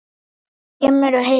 Hann hafði rétt fyrir sér.